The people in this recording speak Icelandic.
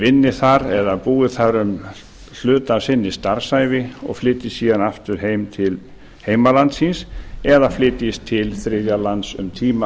vinni þar eða búi þar hluta af sinni starfsævi og flytji síðan aftur heim til heimalands síns eða flytjist til þriðja lands um tíma